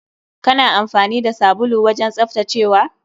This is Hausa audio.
Kana amfani da sabulu wajen tsaftacewa?